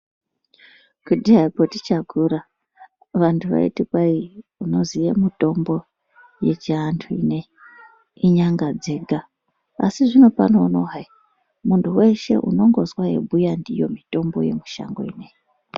Kudhayako tichakura vantu vaiti kwai unoziya mutombo yechiantu ineyi inyanga dzega. Asi zvinopano hai, muntu wehse unongozwa eibhuya ndiyo mitombo yemushango ineyi.